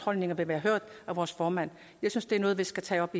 holdninger bliver hørt af vores formand jeg synes det er noget vi skal tage op